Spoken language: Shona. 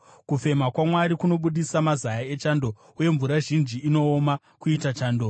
Kufema kwaMwari kunobudisa mazaya echando, uye mvura zhinji inooma kuita chando.